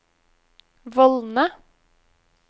vollene